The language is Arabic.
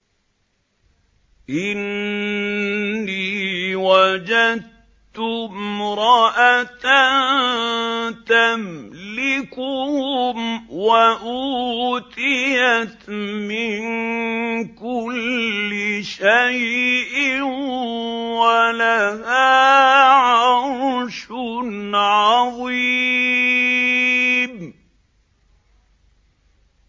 إِنِّي وَجَدتُّ امْرَأَةً تَمْلِكُهُمْ وَأُوتِيَتْ مِن كُلِّ شَيْءٍ وَلَهَا عَرْشٌ عَظِيمٌ